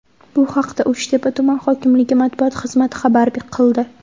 Bu haqda Uchtepa tuman hokimligi matbuot xizmati xabar qildi .